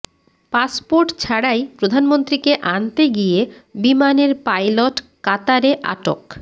passport ছাড়াই প্রধানমন্ত্রীকে আনতে গিয়ে বিমানের পাইলট কাতারে আটক